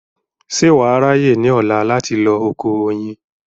ṣé wà á ráyè ní ọ̀la láti lọ oko oyin